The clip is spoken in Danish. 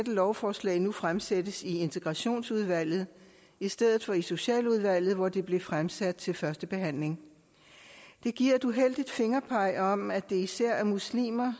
lovforslag nu fremsættes i integrationsudvalget i stedet for socialudvalget hvor det tidligere blev fremsat til første behandling det giver et uheldigt fingerpeg om at det især er muslimer